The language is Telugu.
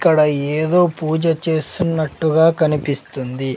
ఇక్కడ ఏదో పూజ చేస్తున్నట్టుగా కనిపిస్తుంది.